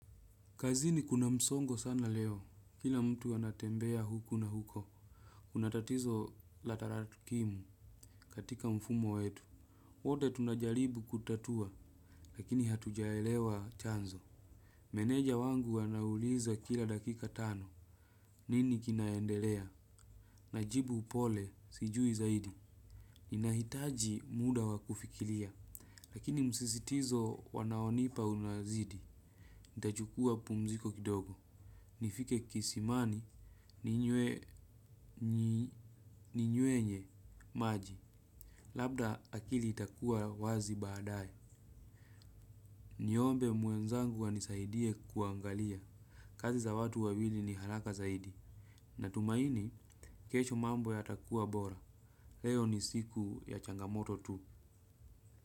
Kazini kuna msongo sana leo. Kila mtu anatembea huku na huko. Kuna tatizo la taratukimu katika mfumo wetu. Wote tunajalibu kutatua llakini hatujaelewa chanzo. Meneja wangu anauliza kila dakika tano. Nini kinaendelea? Najibu upole sijui zaidi. Ninahitaji muda wakufikilia. Lakini msisitizo wanaonipa unazidi. Ntachukua pumziko kidogo. Nifike kisimani ninywe nye maji. Labda akili itakua wazi badaye. Niombe mwenzangu anisaidie kuangalia kazi za watu wa wili ni halaka zaidi. Natumaini, kesho mambo yatakua bora. Leo ni siku ya changamoto tu.